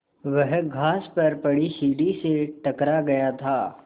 वह घास पर पड़ी सीढ़ी से टकरा गया था